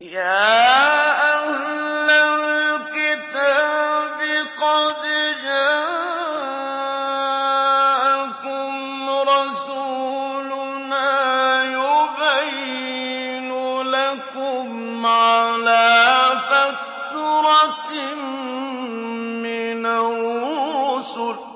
يَا أَهْلَ الْكِتَابِ قَدْ جَاءَكُمْ رَسُولُنَا يُبَيِّنُ لَكُمْ عَلَىٰ فَتْرَةٍ مِّنَ الرُّسُلِ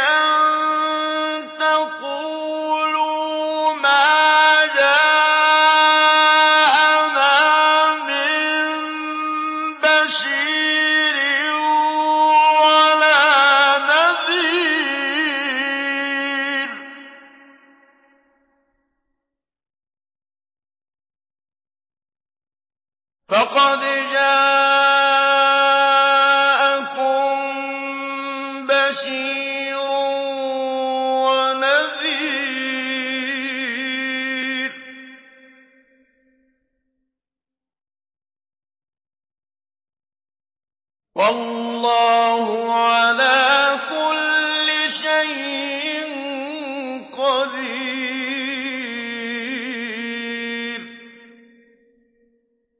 أَن تَقُولُوا مَا جَاءَنَا مِن بَشِيرٍ وَلَا نَذِيرٍ ۖ فَقَدْ جَاءَكُم بَشِيرٌ وَنَذِيرٌ ۗ وَاللَّهُ عَلَىٰ كُلِّ شَيْءٍ قَدِيرٌ